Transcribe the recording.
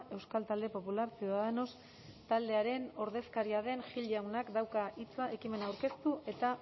euskal talde popular ciudadanos taldearen ordezkaria den gil jaunak dauka hitza ekimen aurkeztu eta